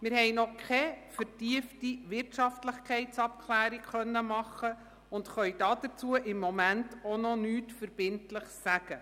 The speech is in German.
Wir konnten noch keine vertiefte Wirtschaftlichkeitsabklärung vornehmen und können dazu im Moment noch nichts Verbindliches sagen.